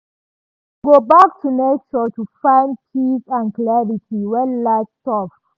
e go back to nature to find peace and clarity when life tough